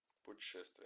путешествие